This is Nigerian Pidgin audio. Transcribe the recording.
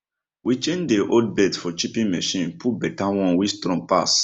we change dey old belt for chipping machine put better one wey strong pass